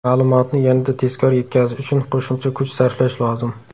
Ma’lumotni yanada tezkor yetkazish uchun qo‘shimcha kuch sarflash lozim.